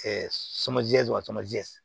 sama jɛmajɛ